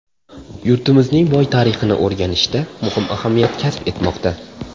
Yurtimizning boy tarixini o‘rganishda muhim ahamiyat kasb etmoqda.